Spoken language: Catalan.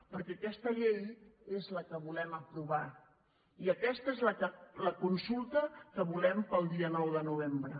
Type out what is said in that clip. perquè aquesta llei és la que volem aprovar i aquesta és la consulta que volem per al dia nou de novembre